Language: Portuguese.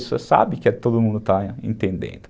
Você sabe que todo mundo está entendendo.